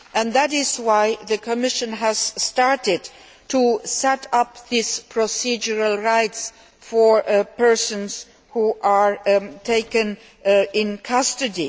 That is why the Commission has started to set up procedural rights for persons who are taken into custody.